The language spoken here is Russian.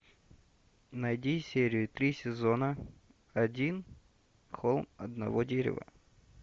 найди серию три сезона один холм одного дерева